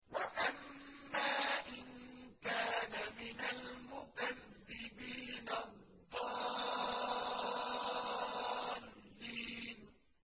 وَأَمَّا إِن كَانَ مِنَ الْمُكَذِّبِينَ الضَّالِّينَ